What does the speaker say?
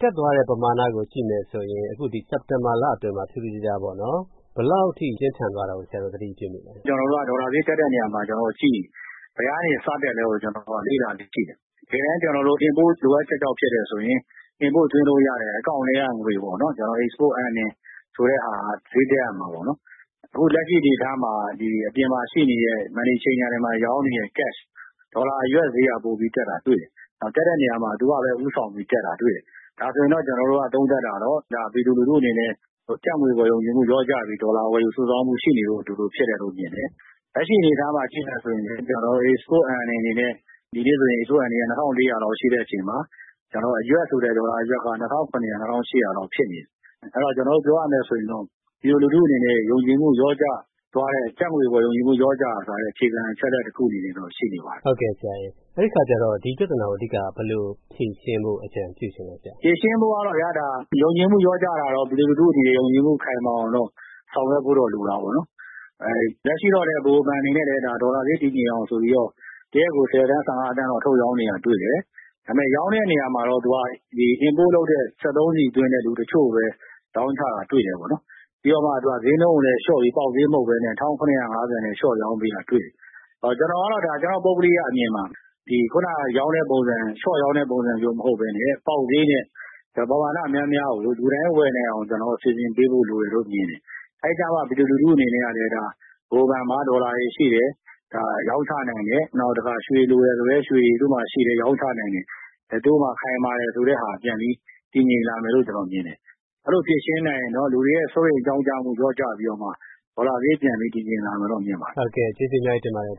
တက်သွားတဲ့ပမာဏကို ကြည့်မယ်ဆိုရင် စက်တင်ဘာလအတွင်းမှာ ထူးထူးခြားခြားပေါ့နော်၊ ဘယ်လောက်အထိ ပြင်းထန်သွားတာကို ဆရာတို့သတိပြုမိလဲ။ ဒေါ်လာဈေးတက်တဲ့နေရာမှာ ကျနော်တို့က ကြည့်နေတယ်။ဘယ်ကနေ စတက်သလဲဆိုတာကို လေ့လာပြီး ကြည့်တယ်။ တကယ်တန်း ကျနော်တို့ Import လိုအပ်ချက်ကြောင့် ဖြစ်တယ်ဆိုရင် Import သွင်းလို့ရတဲ့အကောင့်ထဲက ငွေကို Export Earning ဆိုတဲ့ဟာက ဈေးတက်ရမှာပေါ့နော်။ အခု လက်ရှိအနေအထားမှာ အပြင်မှာရှိနေတဲ့ Money Changer တွေမှာ ရောင်းနေတဲ့ Cash - ဒေါ်လာအရွက်ဈေးက ပိုပြီးတက်တာ တွေ့ရတယ်။ တက်တဲ့နေရာမှာ သူကလည်း ဦးဆောင်ပြီးတက်တာတွေ့တယ်။ ဒါဆိုရင်တော့ ကျနော်တို့က သုံးသပ်တာကတော့ ပြည်သူလူထုအနေနဲ့ ကျပ်ငွေအပေါ် ယုံကြည်မှုလျော့ကျပြီး ဒေါ်လာဝယ်ယူစုဆောင်းမှုရှိနေလို့ ဒီလိုဖြစ်တယ်လို့မြင်တယ်။ လက်ရှိအနေအထားမှာကြည့်မယ်ဆိုရင် ကျနော်တို့ Export Earning အနေနဲ့ ဒီနေ့ဆိုရင် Export Earning က ၂,၄၀၀ လောက်ရှိတဲ့အချိန်မှာ အရွက်ဆိုတဲ့ဆိုတဲ့ ဒေါ်လာအရွက်က ၂,၇၀၀၊ ၂,၈၀၀ လောက် ဖြစ်နေတယ်။ အဲဒီတော့ ပြောရမယ်ဆိုရင်တော့ ပြည်သူလူထုအနေနဲ့ ကျပ်ငွေအပေါ် ယုံကြည်မှုလျော့ကျသွားတဲ့ အခြေခံအချက်အလက်တခုအနေနဲ့ တော့ရှိနေပါတယ်။ အဲဒီအခါကျတော့ ဒီပြဿနာကို အဓိက ဘယ်လိုဖြေရှင်းဖို့ အကြံပြုချင်သလဲ။ ဖြေရှင်းဖို့ကတော့ဗျာ- ဒါ ယုံကြည်မှုလျော့ကျတာကတော့ ပြည်သူလူထုတွေ ယုံကြည်မှုခိုင်မာအောင် ဆောင်ရွက်ဖို့တော့ လိုတာပေါ့နော်။ လက်ရှိတော့လည်း ဗဟိုဘဏ် အနေနဲ့လည်း ဒေါ်လာဈေးတည်ငြိမ်အောင်ဆိုပြီးတော့ တရက်ကို ဆယ်သန်း၊ ဆယ့်ငါးသန်းထုတ်ရောင်းနေတာတွေ့တယ်။ ဒါပေမယ့် ရောင်းတဲ့နေရာမှာတော့ သူက Import လုပ်တဲ့ စက်သုံးဆီသွင်းတဲ့လူတချို့ကိုပဲ ရောင်းချတာေ တွ့တယ်ပေါ့နော်။ ပြီးတော့မှ ဈေးနှုန်းကိုလည်း လျှော့ပြီး ပေါက်ဈေးမဟုတ်ဘဲနဲ့ ၁,၇၅၀ နဲ့ လျှော့ရောင်းပေးတာတွေ့တယ်။ ကျနော့် ပုဂ္ဂလိကအမြင်မှာတော့ အခုနက ရောင်းတဲ့ပုံစံ - လျှော့ရောင်းတဲ့ပုံစံမျိုးမဟုတ်ဘဲနဲ့ ပေါက်ဈေးနဲ့ ပမာဏများများကို လူတိုင်းဝယ်နိုင်အောင် စီစဉ်ပေးဖို့ လိုတယ်လို့မြင်တယ်။ အဲဒီကျတော့မှ ပြည်သူလူထုအနေနဲ့ကလည်း ဗဟိုဘဏ်မှာ ဒေါ်လာတွေရှိတယ်၊ ရောင်းချနိုင်တယ်၊ နောက်တခါ ရွှေလိုတယ်ဆိုလည်း သူ့တို့မှာရွှေရှိတယ်၊ ရောင်းချနိုင်တယ်၊ သူ့တို့မှာ ခိုင်မာတယ်ဆိုတဲ့ဟာ ပြန်ပြီး တည်ငြိမ်လာမယ်လို့ကျနော်မြင်တယ်။ အဲလိုဖြေရှင်းနိုင်ရင်တော့ လူတွေရဲ့စိုးရိမ်ကြောင့်ကျမှု လျော့ကျပြီးတော့မှ ဒေါ်လာဈေးပြန်ပြီး တည်ငြိမ်လာမယ်လို့တော့ မြင်တယ်။ ဟုတ်ကဲ့။ ကျေးဇူးအများကြီးတင်ပါတယ်။ ဒေါ